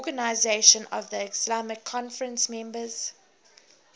organisation of the islamic conference members